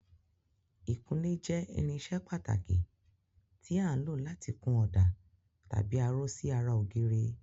Ìkunlé jẹ́ irinṣẹ́ pàtàkì tí à ń lò láti kun ọ̀dà tàbí aró sí ara ògiri.